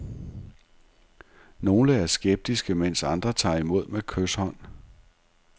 Nogle er skeptiske, mens andre tager imod med kyshånd.